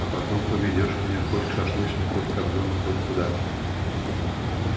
а потом поведёшь меня хоть к шашлычной хоть к кобзону хоть куда